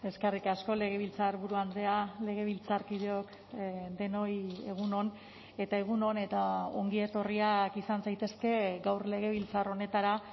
eskerrik asko legebiltzarburu andrea legebiltzarkideok denoi egun on eta egun on eta ongi etorriak izan zaitezke gaur legebiltzar honetara